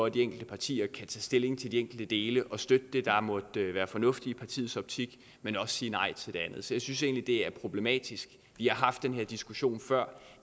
at de enkelte partier kan tage stilling til de enkelte dele og støtte det der måtte være fornuftigt i partiets optik men også sige nej til det andet så jeg synes egentlig det er problematisk vi har haft denne diskussion før